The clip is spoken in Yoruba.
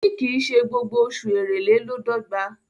òní kín ṣe gbogbo Oṣù Èrèlè ló d'ogba.